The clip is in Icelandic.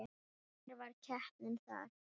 Ég var heppinn þar.